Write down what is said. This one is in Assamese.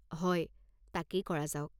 হয়, তাকেই কৰা যাওক৷